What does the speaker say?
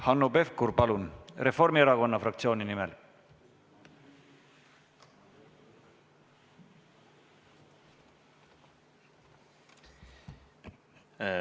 Hanno Pevkur Reformierakonna fraktsiooni nimel, palun!